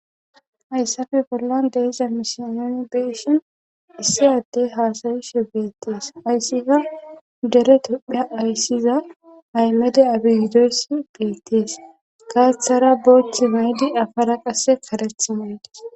hayssafe bollan deiza misiooni beeshin issi addey haasayishe beettees ayssiza dere tophea ayssiza aymede abiideossi beettees gaaththara booth maydi afara qasse kareth maydis